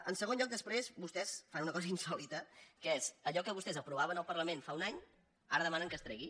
en segon lloc després vostès fan una cosa insòlita que és que allò que vostès aprovaven al parlament fa un any ara demanen que es tregui